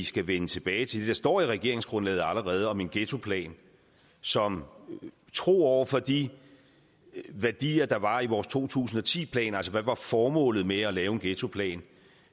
skal vende tilbage til det står i regeringsgrundlaget om en ghettoplan som er tro over for de værdier der var i vores to tusind og ti plan altså hvad var formålet med at lave en ghettoplan